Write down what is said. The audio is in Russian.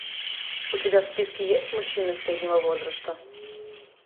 у тебя в списке есть мужчина среднего возраста